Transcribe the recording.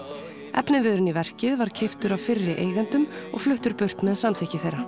efniviðurinn í verkið var keyptur af fyrri eigendum og fluttur burt með samþykki þeirra